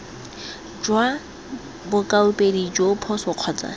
jwa bokaopedi joo phoso kgotsa